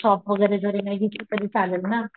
shop वैगरे जरी नाही घेतल तरी चालेल ना,